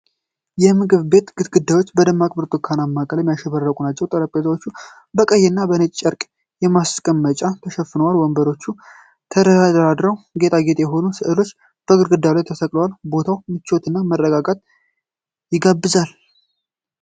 የምግብ ቤቱ ግድግዳዎች በደማቅ ብርቱካናማ ቀለም ያሸበረቁ ናቸው። ጠረጴዛዎቹ በቀይና በነጭ የጨርቅ ማስቀመጫዎች ተሸፍነው፣ ወንበሮች ተደርድረዋል። ጌጣጌጥ የሆኑ ሥዕሎች በግድግዳው ላይ ተሰቅለዋል። ቦታው ምቾትንና መረጋጋትን ይጋብዛል።